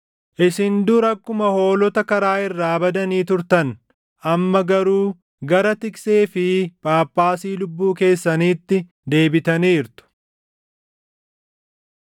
Isin dur akkuma hoolota karaa irraa badanii turtan; amma garuu gara Tiksee fi Phaaphaasii lubbuu keessaniitti deebitaniirtu.